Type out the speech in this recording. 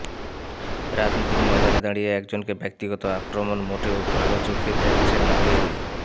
রাজনীতির ময়দানে দাঁড়িয়ে একজনকে ব্যক্তিগত আক্রমণ মোটেও ভাল চোখে দেখছেন না কেউই